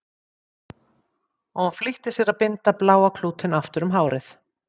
Og hún flýtti sér að binda bláa klútinn aftur um hárið.